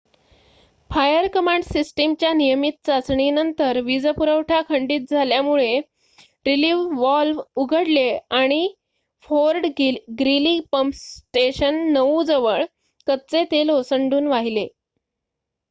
fire command सिस्टमच्या नियमित चाचणीनंतर वीज पुरवठा खंडीत झाल्यामुळे रीलिफ वॉल्व उघडले आणि फोर्ड ग्रीली पम्प स्टेशन ९ जवळ कच्चे तेल ओसंडून वाहिले